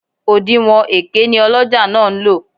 Òdinwọ̀n èké ni ọlọ́jà náà ń lò